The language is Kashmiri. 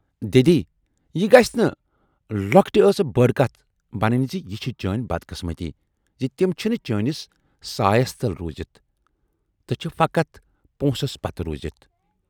"دٮ۪دی یہِ گٔژھ نہٕ لۅکٹہِ ٲسہٕ بٔڈ کتھ بنٕنۍ زِ یہِ چھِ چٲنۍ بد قسمتی زِ تِم چھِنہٕ چٲنِس سایَس تل روٗزِتھ تہٕ چھِ فقط پونسس پتہٕ روٗزِتھ۔